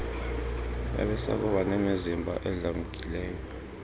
babesakuba nemizimba edlamkileyo